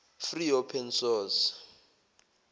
free open source